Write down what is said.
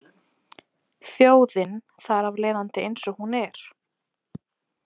Þjóðin þar af leiðandi eins og hún er.